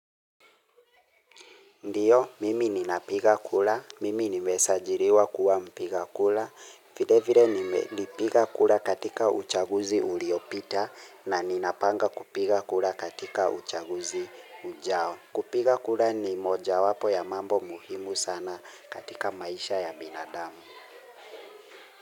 Ndiyo, mimi ninapiga kura, mimi nimesajiriwa kuwa mpiga kura, vile vile nilipiga kura katika uchaguzi uliopita na ninapanga kupiga kura katika uchaguzi ujao. Kupiga kura ni moja wapo ya mambo muhimu sana katika maisha ya binadamu.